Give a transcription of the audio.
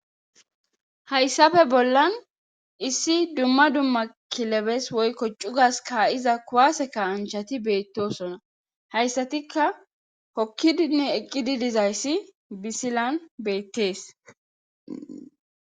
hayssafe bollan issi dumma dumma kilebes woykko cugas ka7iza kuwase ka anchati beettosona hayssatikka hokki dinme eqqidi dizayssi bisilan beettees